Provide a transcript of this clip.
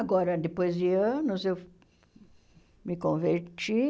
Agora, depois de anos, eu me converti,